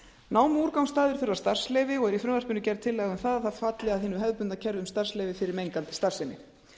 námuúrgangsstaðir þurfa starfsleyfi og er í frumvarpinu gerð tillaga um að það falli að hinu hefðbundna kerfi um starfsleyfi fyrir mengandi starfsemi